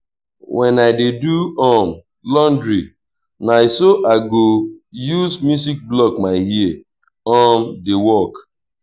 wen i dey do um laundry na so i go use music block my ear um dey work